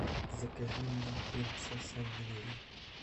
закажи мне принцесса нури